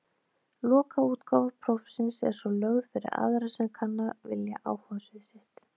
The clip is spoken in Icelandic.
Lokaútgáfa prófsins er svo lögð fyrir aðra sem kanna vilja áhugasvið sitt.